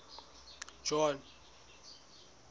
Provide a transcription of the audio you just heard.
john